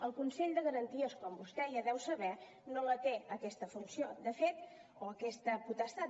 el consell de garanties com vostè ja deu saber no la té aquesta funció o aquesta potestat